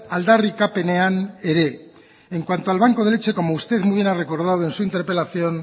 aldarrikapenean ere en cuanto al banco de leche como usted muy bien ha recordado en su interpelación